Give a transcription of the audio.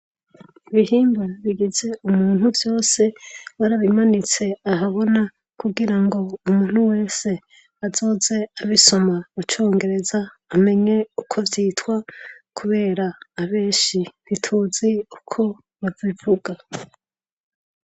Ibihimba bigize umuntu vyose barabimanitse ahabona kugira ngo umuntu wese azoze abisoma mu congereza amenye uko vyitwa kubera abenshi ntituzi uko babivuga.